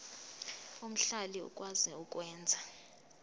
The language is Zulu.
omhlali okwazi ukwenza